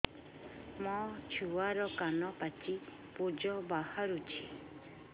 ମୋ ଛୁଆର କାନ ପାଚି ପୁଜ ବାହାରୁଛି